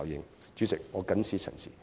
代理主席，謹此陳辭。